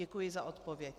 Děkuji za odpověď.